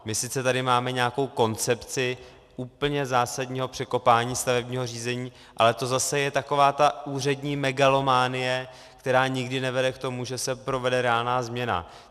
My sice tady máme nějakou koncepci úplně zásadního překopání stavebního řízení, ale to zase je taková ta úřední megalomanie, která nikdy nevede k tomu, že se provede reálná změna.